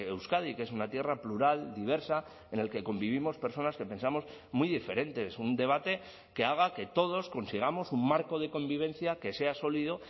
euskadi que es una tierra plural diversa en el que convivimos personas que pensamos muy diferente es un debate que haga que todos consigamos un marco de convivencia que sea sólido